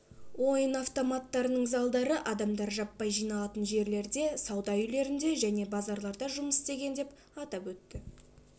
ойын автоматтарының залдары адамдар жаппай жиналатын жерлерде сауда үйлерінде және базарларда жұмыс істеген деп атап өтті